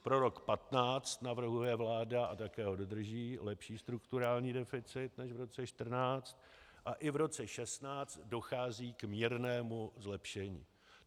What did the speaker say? Pro rok 2015 navrhuje vláda, a také ho dodrží, lepší strukturální deficit než v roce 2014 a i v roce 2016 dochází k mírnému zlepšení.